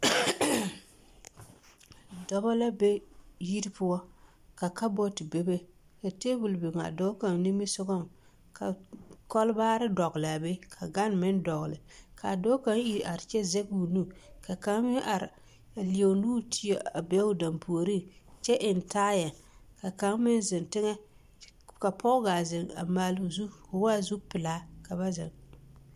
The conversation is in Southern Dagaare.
Dɔbɔ la be yiri poɔ ka kabɔɔte bebe, ka teebol biŋ a dɔɔ kaŋa nimisogɔŋ ka kɔlbaare dɔgelaa be ka gane meŋ dɔgele k'a dɔɔ kaŋ iri are kyɛ zɛge o nu ka kaŋ meŋ are a leɛ o nuuri teɛ a be o dampuoriŋ kyɛ eŋ taayɛ ka kaŋ meŋ zeŋ teŋɛ ka pɔge gaa zeŋ maaloo zu k'o waa zupelaa ka ba zeŋ.